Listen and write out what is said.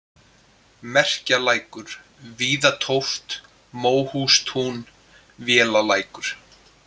Merkjalækur, Víðatóft, Móhústún, Vélalækur